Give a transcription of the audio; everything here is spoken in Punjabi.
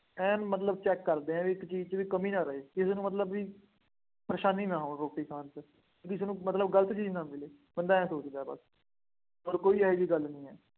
ਐਨ ਮਤਲਬ check ਕਰਦੇ ਆ ਬਈ, ਕਿਸੇ ਚੀਜ਼ ਚ ਕੋਈ ਕਮੀ ਨਾ ਰਹਿ ਜਾਦੇ, ਕਿਸੇ ਨੂੰ ਮਤਲਬ ਬਈ ਪਰੇਸ਼ਾਨੀ ਨਾ ਹੋਵੇ, ਰੋਟੀ ਖਾਣ ਚ, ਕਿਸੇ ਨੂੰ ਮਲਤਬ ਗਲਤ ਚੀਜ਼ ਨਾ ਮਿਲੇ, ਬੰਦਾ ਆਏਂ ਸੋਚਦਾ ਹੈ ਬੱਸ, ਹੋਰ ਕੋਈ ਇਹੋ ਜਿਹੀ ਗੱਲ ਨਹੀਂ ਹੈ।